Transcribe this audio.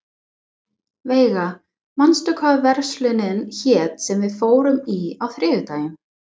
Veiga, manstu hvað verslunin hét sem við fórum í á þriðjudaginn?